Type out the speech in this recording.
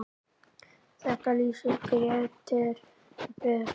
Þetta lýsir Grétari vel.